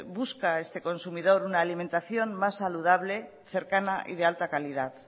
busca este consumidor una alimentación más saludable cercana y de alta calidad